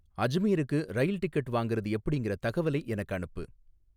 அஜ்மீருக்கு rail ticket வாங்குறது எப்படிங்குற தகவலை எனக்கு அனுப்பு